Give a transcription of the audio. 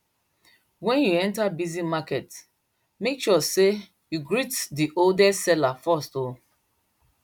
wen you enter busy market make sure say you greet di oldest seller first o